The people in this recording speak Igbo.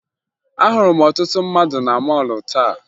Ahụrụ m ọtụtụ mmadụ na mọọlụ taa